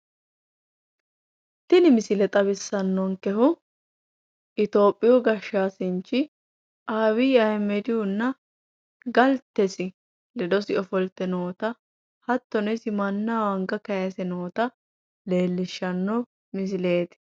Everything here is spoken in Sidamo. Tini misile xawissannonkehu itoyophiiyu gashshaanchi abiyyi ayiimedihunna galtesi ledo ofolte noota hattono isi mannaho anga kayiise noota leellishshanno misileeti